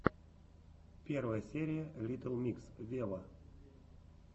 первая серия литтл микс вево